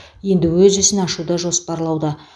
енді өз ісін ашуды жоспарлауда